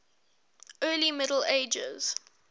early middle ages